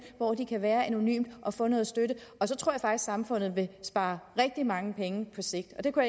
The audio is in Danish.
hvor de kan være anonymt og få noget støtte så tror at samfundet ville spare rigtig mange penge på sigt det kunne